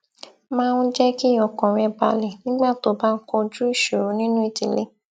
máa ń jé kí ọkàn rè balè nígbà tó bá ń kojú ìṣòro nínú ìdílé